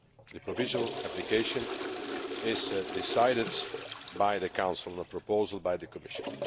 The provisional application is decided by the Council on a proposal by the Commission.